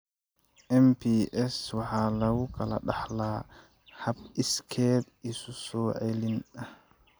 MPS IIID waxa lagu kala dhaxlaa hab iskeed isu-soo-celin ah.